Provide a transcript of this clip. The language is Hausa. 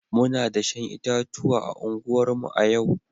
Muna dashen itatuwa a unguwarmu a yau